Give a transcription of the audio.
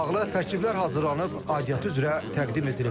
Bununla bağlı təkliflər hazırlanıb, aidiyyatı üzrə təqdim edilib.